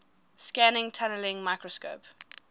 scanning tunneling microscope